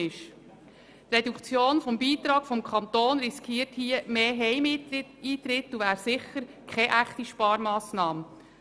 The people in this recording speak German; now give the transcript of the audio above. Bei einer Reduktion des Kantonsbeitrags besteht das Risiko, dass die Anzahl der Heimeintritte steigt, und das wäre sicher keine echte Sparmassnahme.